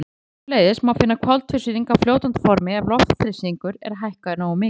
Sömuleiðis má finna koltvísýring á fljótandi formi ef loftþrýstingur er hækkaður nógu mikið.